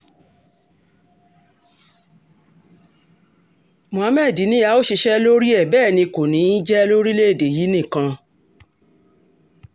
muhammed ni a ó ṣiṣẹ́ lórí ẹ̀ bẹ́ẹ̀ ni kò ní í jẹ́ lórílẹ̀-èdè yìí nìkan